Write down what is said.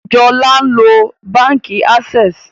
Jola nlo bánkì Access